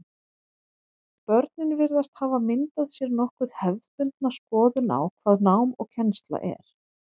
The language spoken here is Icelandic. Börnin virðast hafa myndað sér nokkuð hefðbundna skoðun á hvað nám og kennsla er.